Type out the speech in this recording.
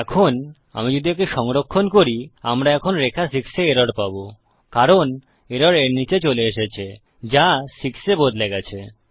এখন আমি যদি একে সংরক্ষণ করিআমরা এখন রেখা 6 এ এরর পাবো কারণ এরর এর নীচে চলে এসেছে যা 6 এ বদলে গেছে